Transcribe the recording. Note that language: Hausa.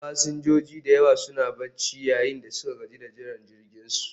Fasinjoji da yawa suna barci, yayin da suka gaji da jiran jirginsu